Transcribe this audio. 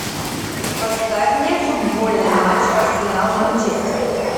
поставь мне футбольный матч арсенал манчестер